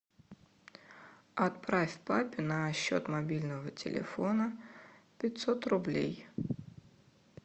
отправь папе на счет мобильного телефона пятьсот рублей